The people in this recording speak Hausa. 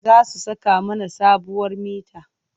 Za su saka mana sabuwar mita.